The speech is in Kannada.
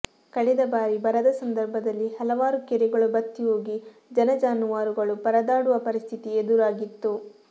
ಕಳೆದ ಬಾರಿ ಬರದ ಸಂದರ್ಭದಲ್ಲಿ ಹಲವಾರು ಕೆರೆಗಳು ಬತ್ತಿ ಹೋಗಿ ಜನ ಜಾನುವಾರುಗಳು ಪರದಾಡುವ ಪರಿಸ್ಥಿತಿ ಎದುರಾಗಿತ್ತು